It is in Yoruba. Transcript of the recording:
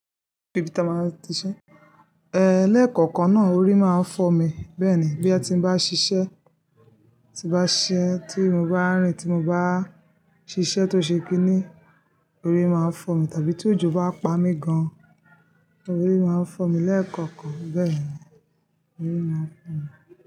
Bibita máa ti ṣẹ, eh lẹ́ẹ̀kọ̀kan náà orí máa ń fọ́ mi bẹ́ẹ̀ni bí ẹ́ ti bá n ṣiṣẹ́, tí bá ṣẹ́ tí mo bá rìn tí mo bá ṣiṣẹ́ tó ṣe pé ní, orí máa ń fọ́ mi tàbí tí òjò bá pa mí gan-an, orí máa ń fọ́ mi lẹ́ẹ̀kọ̀kan bẹ́ẹ̀ni, orí máa ń fọ́ mi.